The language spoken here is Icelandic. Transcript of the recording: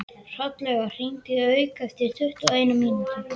Hrollaugur, hringdu í Hauk eftir tuttugu og eina mínútur.